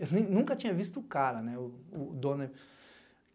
Eu nunca tinha visto o cara, né, o dono.